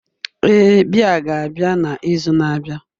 Ee, biya ga-abịa na izu na-abịa